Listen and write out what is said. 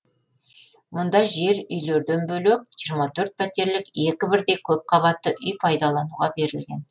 мұнда жер үйлерден бөлек жиырма төрт пәтерлік екі бірдей көпқабатты үй пайдалануға берілген